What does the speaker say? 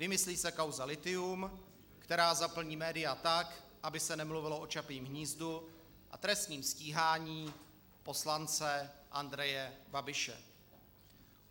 Vymyslí se kauza lithium, která zaplní média tak, aby se nemluvilo o Čapím hnízdu a trestním stíhání poslance Andreje Babiše.